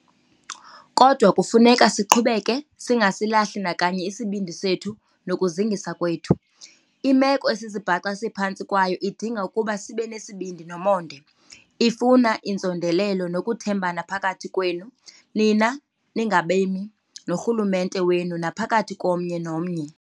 Kodwa kufuneka siqhubeke, singasilahli nakanye isibindi sethu nokuzingisa kwethu. Imeko esizibhaqa siphantsi kwayo idinga ukuba sibe nesibindi nomonde. Ifuna inzondelelo nokuthembana phakathi kwenu, nina ningabemi, norhulumente wenu, naphakathi komnye nomnye.